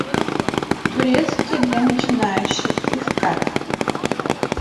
турецкий для начинающих искать